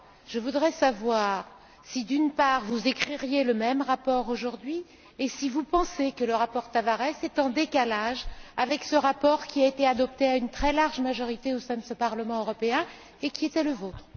Je voudrais savoir si, d'une part, vous écririez le même rapport aujourd'hui et si, d'autre part, vous pensez que le rapport Tavares est en décalage avec ce rapport qui a été adopté à une très large majorité au sein de ce Parlement européen, et qui était le vôtre.